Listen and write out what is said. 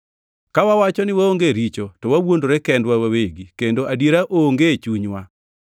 Ka wawacho ni waonge richo, to wawuondore kendwa wawegi, kendo adiera onge e chunywa.